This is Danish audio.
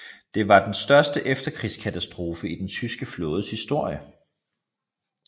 Det var den største efterkrigskatastrofe i den tyske flådes historie